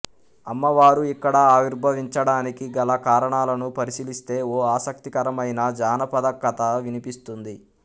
అమ్మవారు ఇక్కడ ఆవిర్భవించడానికి గల కారణాలను పరిశీలిస్తే ఓ ఆసక్తికరమైన జానపద కథ వినిపిస్తుంది